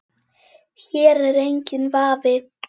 Hér er enginn vafi.